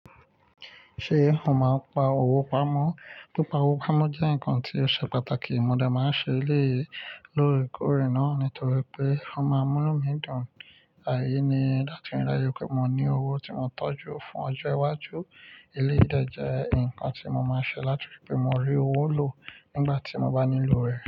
Ṣé ó máa ń pa owó pamọ́? Pípa owó pamọ́ jẹ́ nǹkan tí ó ṣe pàtàkì. Mo dẹ máa ń ṣe eléyìí loórekoore nà nítorí pé ó máa ń mú nu dùn. Àìní láti rí láàyè pé mo ní owó tí mo tọ́jú fún ọjọ́ iwájú. Eléyìí ìdè jẹ́ ǹkan tí mo máa ń ṣe láti rí pé mo rí owó lò nígbà tí mo bá nílò rẹ̀.